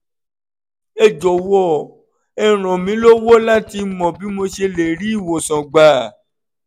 ẹ jọ̀wọ́ ẹ ràn mí lọ́wọ́ láti mọ bí mo ṣe lè rí ìwòsàn gbà